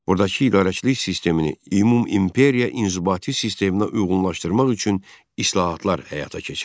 Buradakı idarəçilik sistemini ümumimperiya inzibati sisteminə uyğunlaşdırmaq üçün islahatlar həyata keçirdi.